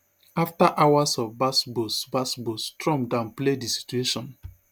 after hours of gbas gbos gbas gbos trump downplay di situation